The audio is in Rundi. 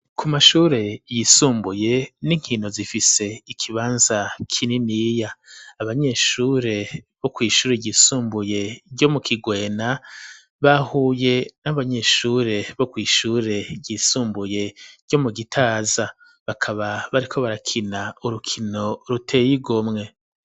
Ku mashure yisumbuye n'inkino zifise ikibanza kininiya abanyeshure bo kw'ishure yisumbuye ryo mu kigwena bahuye n'abanyeshure bo kw'ishure ryisumbuye ryo mu gitaza bakaba bariko barakina urukino ruteyigomwe.